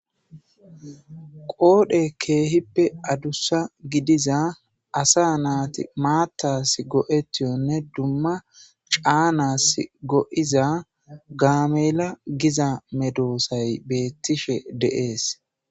Qoodhe keehippe addussa gidiza asa naati maattas go7etiyonne dumma caanas go7iza gaamela giza medoosay beettishe deees